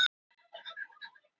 Tæpast þarf að endurtaka það.